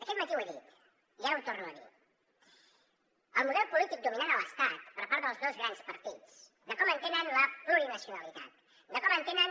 aquest matí ho he dit i ara ho torno a dir el model polític dominant a l’estat per part dels dos grans partits de com entenen la plurinacionalitat de com entenen